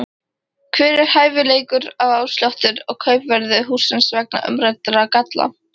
Hver er hæfilegur afsláttur af kaupverði hússins vegna umræddra galla?